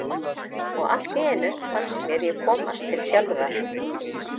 Og allt í einu fannst mér ég komast til sjálfrar mín.